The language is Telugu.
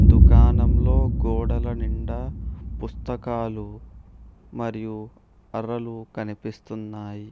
దుకాణంలో గోడల నిండా పుస్తకాలు మరియు అరలు కనిపిస్తున్నాయి.